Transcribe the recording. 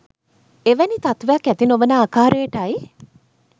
එවැනි තත්ත්වයක් ඇති නොවන ආකාරයටයි.